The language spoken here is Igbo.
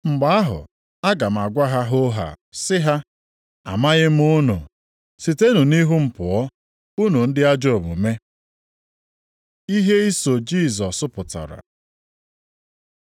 Mgbe ahụ aga m agwa ha hoohaa sị ha, ‘Amaghị m unu, sitenụ nʼihu m pụọ, unu ndị ajọ omume!’ Ihe iso Jisọs Pụtara